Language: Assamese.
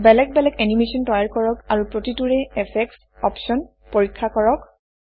বেলেগ বেলেগ এনিমেচন তৈয়াৰ কৰক আৰু প্ৰতিটোৰে ইফেক্ট অপশ্যন পৰীক্ষা কৰক